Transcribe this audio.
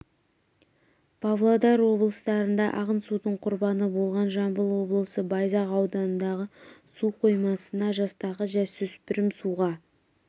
павлодар облыстарында ағын судың құрбаны болған жамбыл облысы байзақ ауданындағы су қоймасына жастағы жасөспірім суға